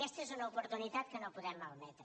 aquesta és una oportunitat que no podem malmetre